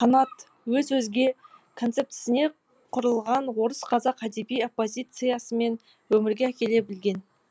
қанат өз өзге концептісіне құрылған орыс қазақ әдеби оппозициясын өмірге әкеле білген